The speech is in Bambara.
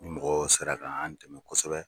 Ni mɔgɔ sera kaan dɛmɛ kosɛbɛ.